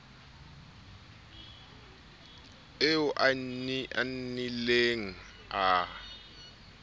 eo a nnileng a e